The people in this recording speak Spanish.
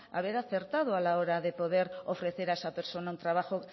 haber acertado a la hora de poder ofrecer a esa persona un trabajo